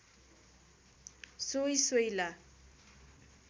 सोई सोइला